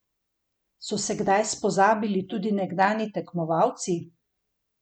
So se kdaj spozabili tudi nekdanji tekmovalci?